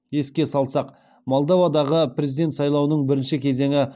еске салсақ молдовадағы президент сайлауының бірінші кезеңі